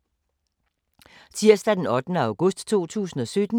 Tirsdag d. 8. august 2017